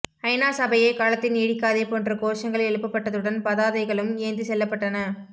ஐ நா சபையே காலத்தை நீடிக்காதே போன்ற கோஷங்கள் எழுப்பப்பட்டதுடன் பதாதைகளும் ஏந்தி செல்லப்பட்டன